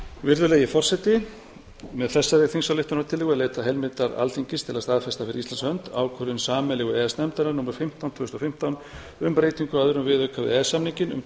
virðulegi forseti með þessari þingsályktunartillögu er leitað heimildar alþingis til að staðfesta fyrir íslands hönd ákvörðun sameiginlegu e e s nefndarinnar númer fimmtán tvö þúsund og fimmtán um breytingu á öðrum viðauka við e e s samninginn um